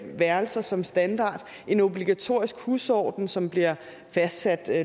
værelser som standard en obligatorisk husorden som bliver fastsat